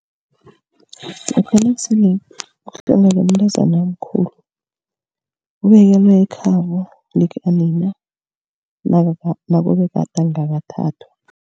Lokha nakusele kuhlongakele umntazana omkhulu. Ubekelwa ekhabo likanina nakube gade angakathathwa.